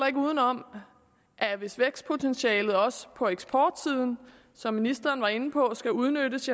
ikke udenom at hvis vækstpotentialet også på eksportsiden som ministeren var inde på skal udnyttes